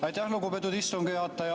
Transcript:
Aitäh, lugupeetud istungi juhataja!